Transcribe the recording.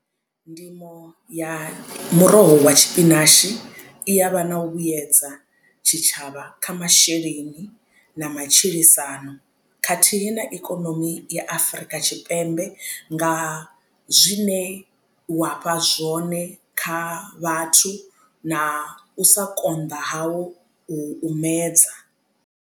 Ndimo ya muroho wa tshipinashi i ya vha na u vhuyedza tshitshavha kha masheleni na matshilisano khathihi na ikonomi i Afurika Tshipembe nga zwine wa fha zwone kha vhathu na u sa konḓa hau u u medza.